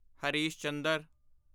Harish Chandra